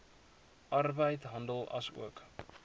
arbeid handel asook